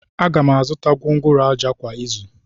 Aga m azụta gwongworo ájá kwa izu.